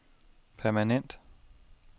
permanent